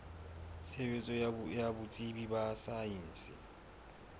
tshebetso ya botsebi ba saense